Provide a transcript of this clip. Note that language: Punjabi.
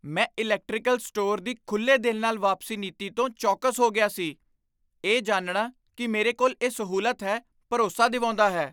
ਮੈਂ ਇਲੈਕਟ੍ਰੀਕਲ ਸਟੋਰ ਦੀ ਖੁੱਲ੍ਹੇ ਦਿਲ ਨਾਲ ਵਾਪਸੀ ਨੀਤੀ ਤੋਂ ਚੌਕਸ ਹੋ ਗਿਆ ਸੀ, ਇਹ ਜਾਣਨਾ ਕਿ ਮੇਰੇ ਕੋਲ ਇਹ ਸਹੂਲਤ ਹੈ, ਭਰੋਸਾ ਦਿਵਾਉਂਦਾ ਹੈ।